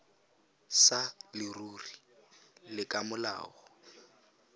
sa leruri le ka molao